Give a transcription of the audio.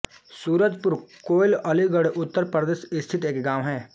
सूरजपुर कोइल अलीगढ़ उत्तर प्रदेश स्थित एक गाँव है